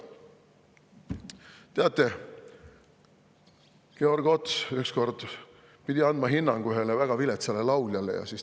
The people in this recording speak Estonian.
Teate, Georg Ots pidi ükskord andma hinnangu ühele väga viletsale lauljale.